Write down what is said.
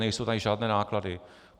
Nejsou tady žádné náklady.